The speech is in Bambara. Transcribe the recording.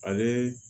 Ale